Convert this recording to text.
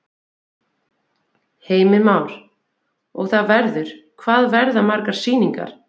Heimir Már: Og það verður, hvað verða margar sýningar?